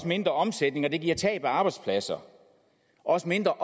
mindre omsætning og det giver tab af arbejdspladser også mindre